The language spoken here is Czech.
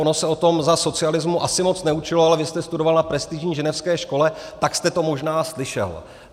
Ono se o tom za socialismu asi moc neučilo, ale vy jste studoval na prestižní ženevské škole, tak jste to možná slyšel.